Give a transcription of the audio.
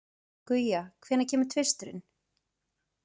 Guja, hvenær kemur tvisturinn?